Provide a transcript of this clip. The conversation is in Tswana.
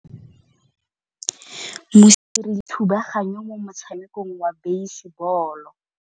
Mosimane o dirile thubaganyô mo motshamekong wa basebôlô.